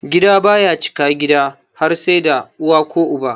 Gida baya cika gida har sai da uwa ko uba.